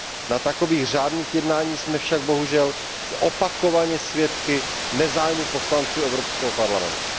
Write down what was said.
Na takových řádných jednáních jsme však bohužel opakovaně svědky nezájmu poslanců Evropského parlamentu.